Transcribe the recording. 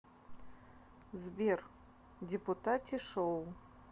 сбер депутати шоу